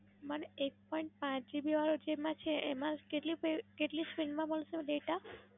Madam, એક પણ આઠ GB આવે છે એમાં કેટલી અર કેટલી Frame માં મળશે Data?